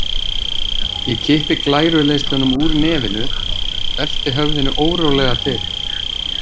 Ég kippi glæru leiðslunum úr nefinu, velti höfðinu órólega til.